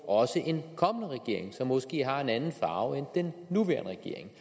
også en kommende regering som måske har en anden farve end den nuværende regering